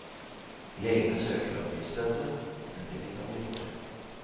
Legene søker om driftssstøtte, men vet ikke om de får.